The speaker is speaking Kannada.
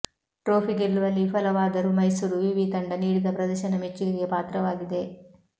ಟ್ರೋಫಿ ಗೆಲ್ಲುವಲ್ಲಿ ವಿಫಲವಾದರೂ ಮೈಸೂರು ವಿವಿ ತಂಡ ನೀಡಿದ ಪ್ರದರ್ಶನ ಮೆಚ್ಚುಗೆಗೆ ಪಾತ್ರವಾಗಿದೆ